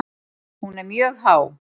Hún er mjög há.